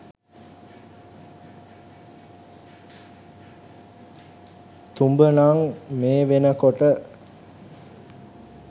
තුඹ නං මේ වෙනකොට